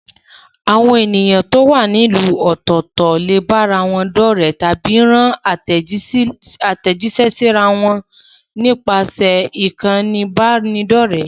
Àwọn èèyàn tó wà ní ìlú ọ̀tọ̀ọ̀tọ̀ lè bára wọn dọ́rẹ̀ẹ́ tàbí rán àtẹ̀jíṣẹ́ síra wọn nípasẹ̀ ìkànnì ìbánidọ́rẹ̀ẹ́.